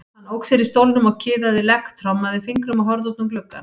Hann ók sér í stólnum og kiðaði legg, trommaði fingrum og horfði út um gluggann.